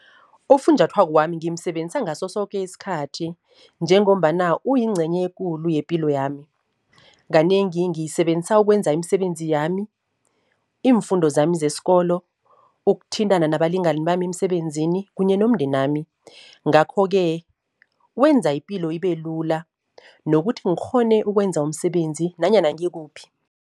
Ufunjathwako wami ngimsebenzisa ngaso soke isikhathi, njengombana uyincenye ekulu yepilo yami. Kanengi ngiyisebenzisa ukwenza imisebenzi yami, iimfundo zami zeskolo, ukuthintana nabalingani bami emsebenzini kunye nomndenami. Ngakho-ke wenza ipilo ibe lula nokuthi ngikghone ukwenza umsebenzi nanyana ngikuphi.